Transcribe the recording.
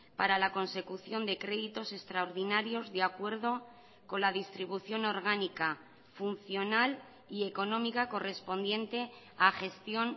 para la consecución de créditos extraordinarios de acuerdo con la distribución orgánica funcional y económica correspondiente a gestión